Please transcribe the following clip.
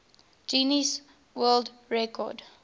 guinness world record